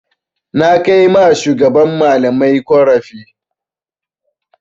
Na kai ma shugaban malamai ƙorafi.